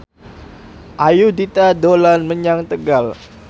Ayudhita dolan menyang Tegal